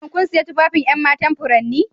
Shin kun sayi tufafin 'yan matan furanni?